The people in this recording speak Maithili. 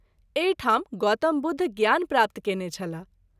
एहि ठाम गौतम बुद्ध ज्ञान प्राप्त कएने छलाह।